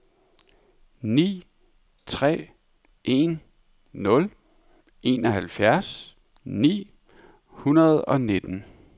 ni tre en nul enoghalvfjerds ni hundrede og nitten